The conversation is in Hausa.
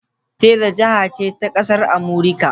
Texas jiha ce a ƙasar Amurika.